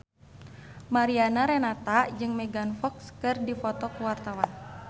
Mariana Renata jeung Megan Fox keur dipoto ku wartawan